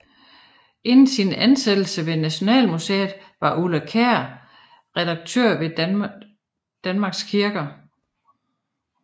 Inden sin ansættelse ved Nationalmuseet var Ulla Kjær redaktør ved Danmarks Kirker